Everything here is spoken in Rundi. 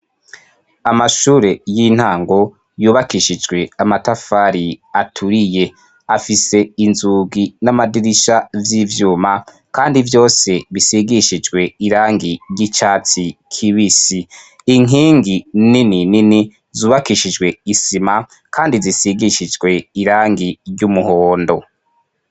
Amashure y'intango yubakishijwe amatafari aturiye afise inzugi n'amadirisha z'ivyuma kandi vyose bisigishijwe irangi ry'icatsi kibisi inkingi nini nini zubakishijwe isima kandi zisigishijwe irangi ry'umuhondo.